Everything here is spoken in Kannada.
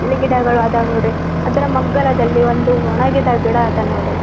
ಇಲ್ಲಿ ಗಿಡಗಳು ಅದಾವ್ ನೋಡ್ರಿ ಅದರ ಮಗ್ಗಲದಲ್ಲಿ ಒಂದು ಒಣಗಿದ ಗಿಡ ಅದ ನೋಡ್ರಿ.